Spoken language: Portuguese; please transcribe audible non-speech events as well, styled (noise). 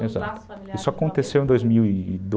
(unintelligible) isso aconteceu em dois mil e (unintelligible)